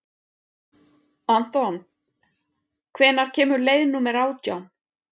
Anton, hvenær kemur leið númer átján?